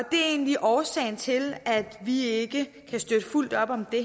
egentlig årsagen til at vi ikke kan støtte fuldt op om det